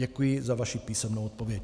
Děkuji za vaši písemnou odpověď.